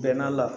Bɛnn'a la